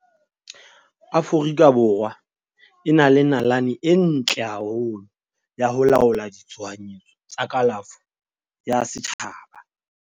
Aforika Borwa e na le nalane e ntle haholo ya ho laola ditshohanyetso tsa kalafo ya setjhaba.